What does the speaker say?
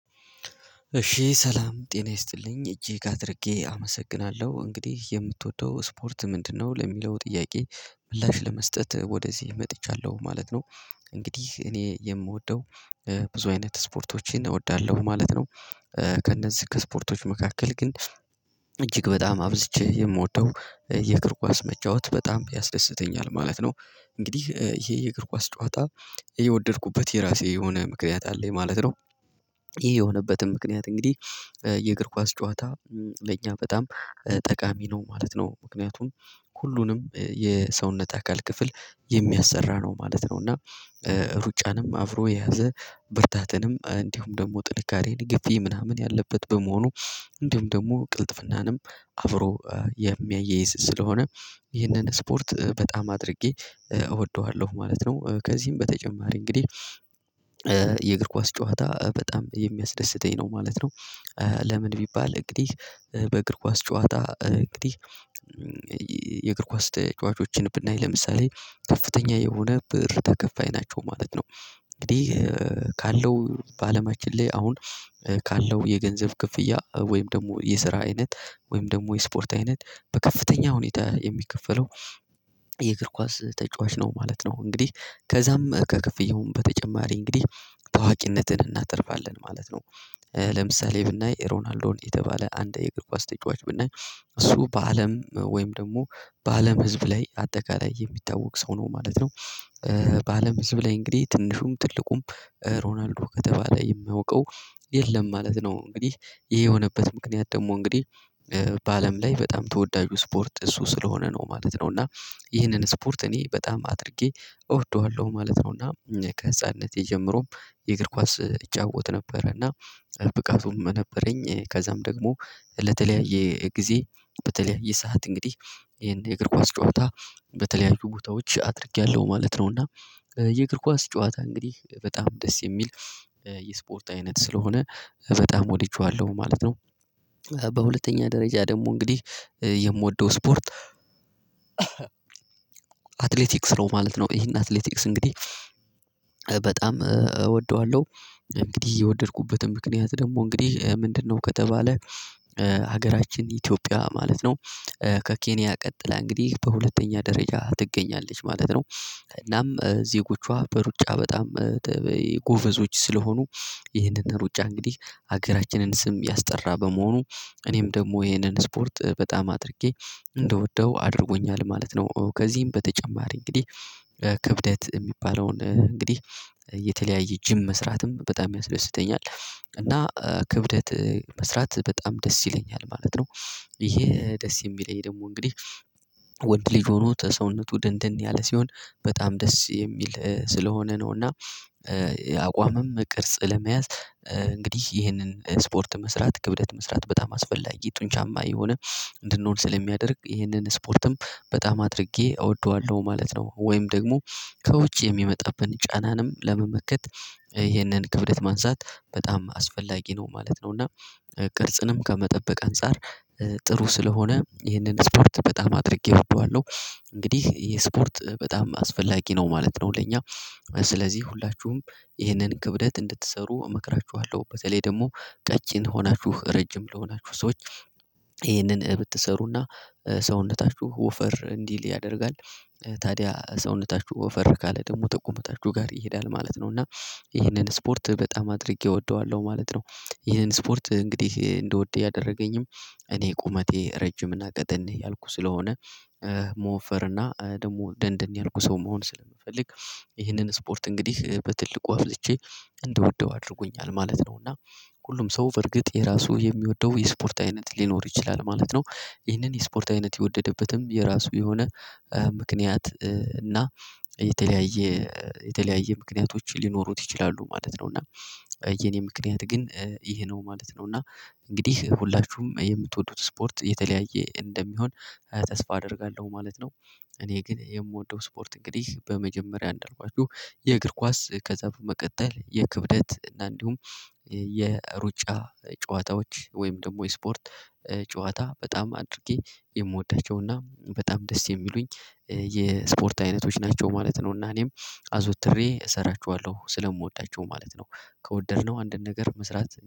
እሺ ሰላም ጤና ይስጥልኝ እጅግ አድርጌ አመሰግናለሁ እንግዲህ የምትወደው ስፖርት ምንድነው? ለሚለው ጥያቄ ምላሽ ለመስጠት ወደዚህ መጥቻለሁ ማለት ነው እንግዲህ እኔ የምወደው ብዙ አይነት ስፖርቶችን እወዳለሁ ማለት ነው። ከእነዚህ ከስፖርቶች መካከል ግን እጅግ በጣም አብዝቼ የምወደው የእግር ኳስ መጫወት በጣም ያስደስተኛል ማለት ነው እንግዲህ ይሄ የእግር ኳስ ጨዋታ የወደድኩበት የራሴ የሆነ ምክንያት አለኝ ማለት ነው። ይሄ የሆነበትም ምክንያት እንግዲህ የእግር ኳስ ጨዋታ ለእኛ በጣም ጠቃሚ ነው ማለት ነው ምክንያቱም ሁሉንም የሰውነት አካል ክፍል የሚያሰራ ነው ማለት ነው እና ሩጫንም አብሮ የያዘ ብርታትንም እንዲሁም ደግሞ ጥንካሬን ግፊ ምናምን ያለበት በመሆኑ እንዲሁም ደግሞ ቅልጥፍናንም አብሮ የሚያያዪዝ ስለሆነ ይህንን ስፖርት በጣም አድርጌ እወደዋለሁ ማለት ነው ከዚህም በተጨማሪ እንግዲህ የእግር ኳስ ጨዋታ በጣም የሚያስደስተኝ ነው ማለት ነው። ለምን ቢባል እንግዲህ በእግር ኳስ ጨዋታ እንግዲህ የእግር ኳስ ተጫዋቾችን ብናይ ለምሳሌ ከፍተኛ የሆነ ብር ተከፋይ ናቸው ማለት ነው እንግዲህ ካለው በአለማችን ላይ አሁን ካለው የገንዘብ ክፍያ ወይም ደግሞ የስራ አይነት ወይም ደግሞ የስፖርት አይነት በከፍተኛ ሁኔታ የሚከፈለው የእግር ኳስ ተጫዋች ነው ማለት ነው እንግዲህ ከዛም ከክፍያውም በተጨማሪ እንግዲህ ታዋቂነትን እናትርፋለን ማለት ነው። ለምሳሌ:- ብናይ ሮናልዶን የተባለ አንድ የግብዋስ ተጫዋች ብናይ እሱ በአለም ወይም ደግሞ በአለም ህዝብ ላይ አጠቃላይ የሚታወቅ ሰው ነው ማለት ነው። በአለም ህዝብ ላይ እንግዲህ ትንሹም ትልቁም ሮናልዶ ከተባለ የሚያውቀው የለም ማለት ነው እንግዲህ ይሄ የሆነበት ምክንያት ደግሞ እንግዲህ ላይ በጣም ተወዳጁ ስፖርት እሱ ስለሆነ ነው ማለት ነው እና ይህንን ስፖርት እኔ በጣም አድርጌ እወደዋለሁ ማለት ነውና ከህፃንነቴ ጀምሮም የእግር ኳስ እጫወት ነበርና ብቃቱም ነበረኝ ከዛም ደግሞ ለተለያየ ጊዜ በተለያየ ሰዓት እንግዲህ ይሄን የእግር ኳስ ጨዋታ በተለያዩ ቦታዎች አድርጌያለሁ ማለት ነው እና የእግር ኳስ ጨዋታ እንግዲህ በጣም ደስ የሚል የስፖርት አይነት ስለሆነ በጣም ወድጄዋለሁ ማለት ነው። በሁለተኛ ደረጃ ደግሞ እንግዲህ የምወደው ስፖርት አትሌቲክስ ነው ማለት ነው ይሄን አትሌቲክስ እንግዲህ በጣም እወደዋለሁ እንግዲህ የወደድኩበትን ምክንያት ደግሞ እንግዲህ ምንድነው ከተባለ ሀገራችን ኢትዮጵያ ማለት ነው ከኬንያ ቀጥላ እንግዲህ በሁለተኛ ደረጃ ትገኛለች ማለት ነው እናም ዜጎቿ በሩጫ በጣም ጎበዞች ስለሆኑ ይህንን ሩጫ እንግዲህ ሀገራችንን ስም ያስጠራ በመሆኑ እኔም ደግሞ ይህንን ስፖርት በጣም አድርጌ እንደወደው አድርጎኛል ማለት ነው ከዚህም በተጨማሪ እንግዲህ ክብደት የሚባለውን እንግዲህ የተለያየ ጅም መስራትም በጣም ያስደስተኛል እና ክብደት መስራት በጣም ደስ ይለኛል ማለት ነው። ይሄ ደስ የሚለኝ ደግሞ እንግዲህ ወንድ ልጅ ሆኖ ተሰውነቱ ድንድን ያለ ሲሆን በጣም ደስ የሚል ስለሆነ ነው እና የአቋምም ቅርጽ ለመያዝ እንግዲህ ይህንን ስፖርት መስራት ክብደት መስራት በጣም አስፈላጊ ጡንቻማ የሆነ እንድንሆን ስለሚያደርግ ይህንን ስፖርትም በጣም አድርጌ እወደዋለሁ ማለት ነው ወይም ደግሞ ከውጭ የሚመጣብን ጫናንም ለመመከት ይሄንን ክብደት ማንሳት በጣም አስፈላጊ ነው ማለት ነው እና ቅልጽንም ከመጠበቅ አንፃር ጥሩ ስለሆነ ይህንን ስፖርት በጣም አድርጌ እወደዋለሁ እንግዲህ የስፖርት በጣም አስፈላጊ ነው ማለት ነው ለኛ ስለዚህ ሁላችሁም ይህንን ክብደት እንድትሰሩ እመክራችኋለሁ በተለይ ደግሞ ቀጭን ሆናችሁ ረጅም ለሆናችሁ ሰዎች ይህንን ብትሰሩና ሰውነታችሁ ወፈር እንዲል ያደርጋል ታዲያ ሰውነታችሁ ወፈር ካለ ደግሞ ጠቁመታችሁ ጋር ይሄዳል ማለት ነው እና ይሄንን ስፖርት በጣም አድርጌ እወደዋለሁ ማለት ነው ይሄን ስፖርት እንግዲህ እንደወደደ ያደረገኝም እኔ ቁመቴ ረጅም እና ቀጠን ያልኩ ስለሆነ መወፈር እና ደግሞ ደንደን ያልኩ ሰው መሆን ስለምፈልግ ይህንን ስፖርት እንግዲህ በትልቁ አብዝቼ እንድወደው እንደወደው አድርጎኛል ማለት ነው እና ሁሉም ሰው በርግጥ የራሱ የሚወደው የስፖርት አይነት ሊኖር ይችላል ማለት ነው ይህንን ስፖርት አይነት የወደደበትም የራሱ የሆነ ምክንያት እና የተለያየ የተለያየ ምክንያቶች ሊኖሩት ይችላሉ ማለት ነው እና የኔ ምክንያት ግን ይሄ ነው ማለት ነው እና እንግዲህ ሁላችሁም የምትወዱት ስፖርት የተለያየ እንደሚሆን ተስፋ አደርጋለሁ ማለት ነው እኔ ግን የምወደው ስፖርት እንግዲህ በመጀመሪያ እንዳልኳችሁ የእግር ኳስ ከዛ በመቀጠል የክብደት እና እንዲሁም የሩጫ ጨዋታዎች ወይም ደግሞ የስፖርት ጨዋታ በጣም አድርጌ የምወዳቸውና በጣም ደስ የሚሉኝ የስፖርት አይነቶች ናቸው ማለት ነውና እኔም አዞትሬ እሰራችኋለሁ ስለምወዳቸው ማለት ነው ከወደድነው አንድን ነገር መስራት